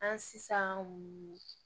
An sisan